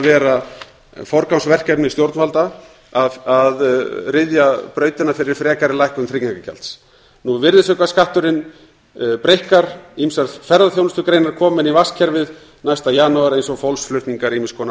vera forgangsverkefni stjórnvalda að ryðja brautina fyrir frekari lækkun tryggingagjalds virðisaukaskatturinn breikkar ýmsar ferðaþjónustugreinar koma inn í virðisaukaskattskerfið næsta janúar eins og fólksflutningar ýmiss konar